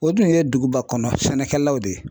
O dun ye duguba kɔnɔ sɛnɛkɛlaw de ye